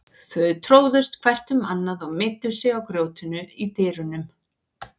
Þau tróðust hvert um annað og meiddu sig á grjótinu í dyrunum.